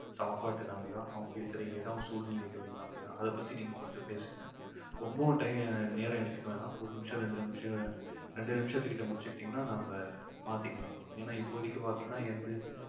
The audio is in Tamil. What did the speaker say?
சாப்பாட்டுனாலையா அவங்க இருக்கிற இடம் சூழ்நிலைகள்னாலயா அதைப் பத்தி நீங்க கொஞ்சம் பேசுங்க. ரொம்பவும் ti~ நேரம் எடுத்துக்க வேணாம் ஒரு நிமிஷம் ரெண்டு நிமிஷம் ரெண்டு நிமிஷத்துக்கிட்ட முடிச்சுக்கிட்டிங்கன்னா நம்ப மாத்திக்கலாம் ஏன்னா இப்போதைக்கு பாத்தீங்கன்னா எந்த